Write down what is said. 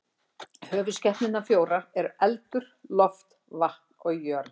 Höfuðskepnurnar fjórar eru eldur, loft, vatn og jörð.